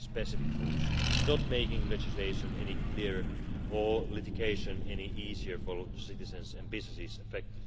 specific rules not making legislation any clearer or litigation any easier for citizens and businesses affected.